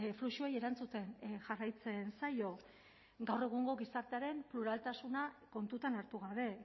fluxuei erantzuten jarraitzen zaio gaur egungo gizartearen pluraltasuna kontutan hartu gabe